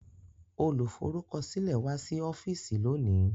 Olùforúkọsílẹ̀ wá sí ọ́fíìsì lónìí